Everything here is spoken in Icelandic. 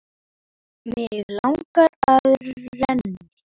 Mig langar að það renni.